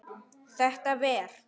Þetta ver?